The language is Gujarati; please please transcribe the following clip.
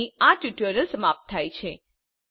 અહીં આ ટ્યુટોરીયલ સમાપ્ત થાય છે